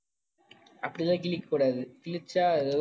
அப்படி எல்லாம் கிழிக்கக் கூடாது. கிழிச்சா